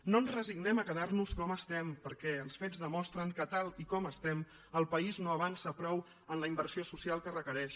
no ens resignem a quedar nos com estem perquè els fets demostren que tal com estem el país no avança prou en la inversió social que requereix